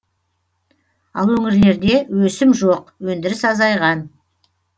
ал өңірлерде өсім жоқ өндіріс азайған